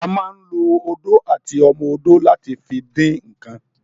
A ma ń lo odó àti ọmọ odó láti fi dín ǹǹkan